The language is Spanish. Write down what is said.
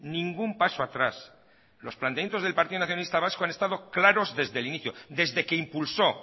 ningún paso atrás los planteamientos del partido nacionalista vasco han estado claros desde el inicio desde que impulsó